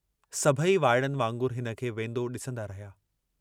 सभेई वाइड़नि वांगुरु हिनखे वेन्दो डिसन्दा रहिया।